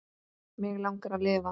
Mig langar að lifa.